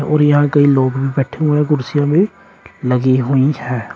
और यहां कई लोग भी बैठे हुए है कुर्सियां भी लगी हुई है।